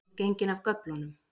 Þú ert genginn af göflunum